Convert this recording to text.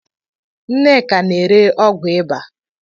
Nneka n'ere ọgwụ ịba